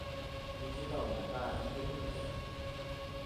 injinda omeetaa iyieu ninjir